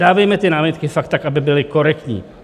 Dávejme ty námitky fakt tak, aby byly korektní.